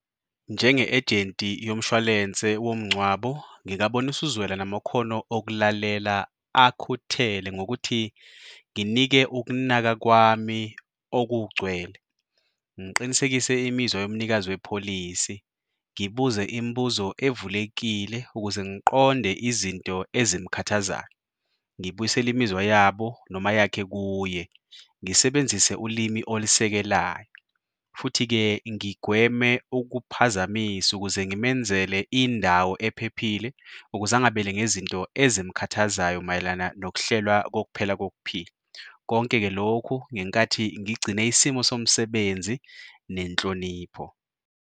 Njenge-ejenti yomshwalense womngcwabo ngingabonisa uzwelo namakhono okulalela akhuthele ngokuthi nginike ukunaka kwami okugcwele, ngiqinisekise imizwa yomnikazi wepholisi, ngibuze imibuzo evulekile ukuze ngiqonde izinto ezimkhathazayo, ngibuyisele imizwa yabo noma yakhe kuye, ngisebenzise ulimi olusekelayo futhi-ke ngigweme ukuphazamisa ukuze ngimenzele indawo ephephile ukuze angabele ngezinto ezimkhathazayo mayelana nokuhlelwa kokuphela kokuphila. Konke-ke lokhu, ngenkathi ngigcine isimo somsebenzi nenhlonipho.